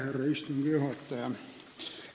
Härra istungi juhataja!